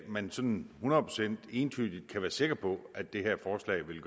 man sådan hundrede procent entydigt kan være sikker på at det her forslag vil